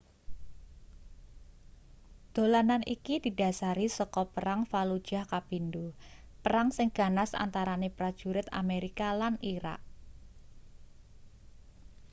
dolanan iki didhasari saka perang fallujah kapindo perang sing ganas antarane prajurit amerika lan irak